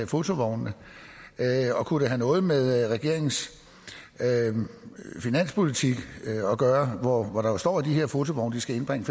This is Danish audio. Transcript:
fotovognene og kunne det have noget med regeringens finanspolitik at gøre for der står jo at de her fotovogne skal indbringe